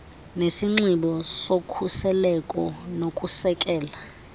nesinxibo sokhuseleko nokusekela